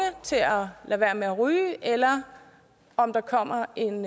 til at lade være med at ryge eller om der kommer en